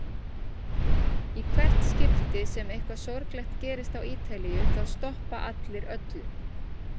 Í hvert skipti sem eitthvað sorglegt gerist á Ítalíu þá stoppa allir öllu.